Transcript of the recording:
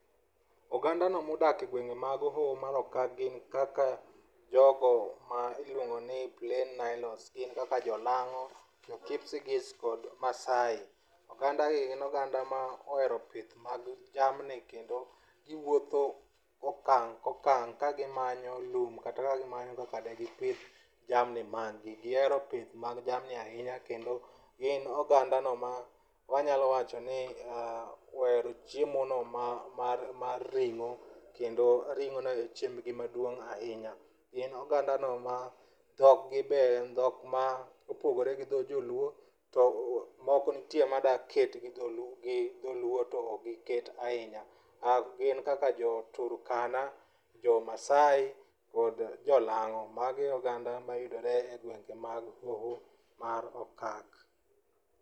Oganda ni modak e gwenge mag hoho mar okak gin jogo ma iluongo ni Plain Nilotes, gin kaka jolang'o, jo Kipsigis, kod Maasai. Oganda gi gin oganda mohero pith mag jamni kendo giwuotho okang' ka okang' ka gimanyo lum kata ka gimanyo kaka digipidh jamni mag gi. Gihero pith mar jamni ahinya kendo ginogandano ma wanyalo wacho ni ohero chiemono mar mar mar ring'o kendo ring'ono e chiembgi maduong' ahinya. Gin ogandano ma dhok gi be en dhok ma opogore gi dho joluo to moko nitie madwa ket gi joluo to ok gin joluo. Gin kaka jo Turkana, Jo Maasai kod Jo Lang'o magi e oganda mayudore e gwenge mag hoho mar okak.